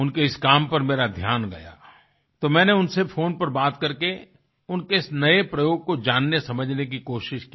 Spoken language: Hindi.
उनके इस काम पर मेरा ध्यान गया तो मैंने उनसे फ़ोन पर बात करके उनके इस नए प्रयोग को जानने समझने की कोशिश की